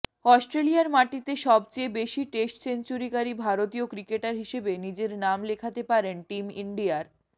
অস্ট্রেলিয়ার মাটিতে সবচেয়ে বেশি টেস্ট সেঞ্চুরিকারী ভারতীয় ক্রিকেটার হিসেবে নিজের নাম লেখাতে পারেন টিম ইন্ডিয়ার